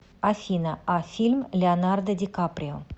афина а фильм леонардо ди каприо